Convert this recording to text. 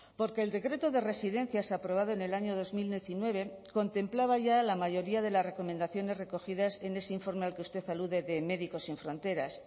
porque el decreto de residencias aprobado en el año dos mil diecinueve contemplaba ya la mayoría de las recomendaciones recogidas en ese informe al que usted alude de médicos sin fronteras